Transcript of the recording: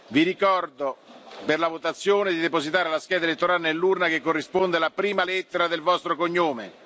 nell'urna. Vi ricordo, per la votazione, di depositare la scheda elettorale nell'urna che corrisponde alla prima lettera del